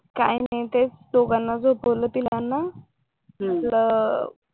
काही नाही तेच दोघांना झोपवलं तिघांना